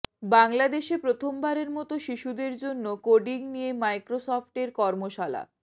বাংলাদেশে প্রথমবারের মতো শিশুদের জন্য কোডিং নিয়ে মাইক্রোসফটের কর্মশালা